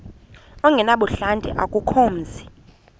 ongenabuhlanti akukho mzi